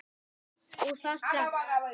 Og það strax.